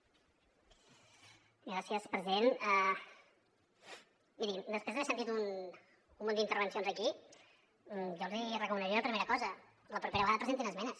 mirin després d’haver sentit un munt d’intervencions aquí jo els recomanaria una primera cosa la propera vegada presentin esmenes